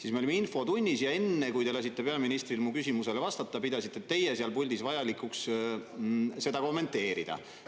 Me olime siis infotunnis ja enne, kui te lasite peaministril mu küsimusele vastata, pidasite te seal puldis vajalikuks seda kommenteerida.